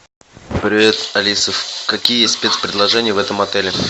привет алиса какие спец предложения в этом отеле